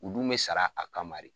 U dun bɛ sara a kama de.